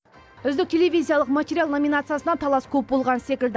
үздік телевизиялық материал номинациясына талас көп болған секілді